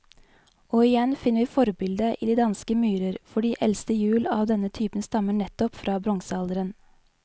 Og igjen finner vi forbildet i de danske myrer, for de eldste hjul av denne type stammer nettopp fra bronsealderen.